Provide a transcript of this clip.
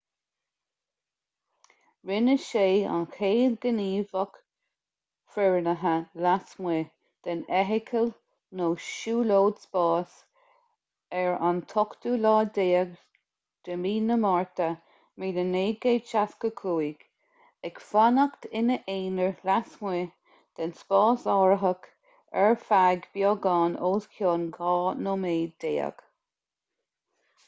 rinne sé an chéad ghníomhaíocht fhoireannaithe lasmuigh den fheithicil nó siúlóid spáis ar an 18 márta 1965 ag fanacht ina aonar lasmuigh den spásárthach ar feadh beagán os cionn dhá nóiméad déag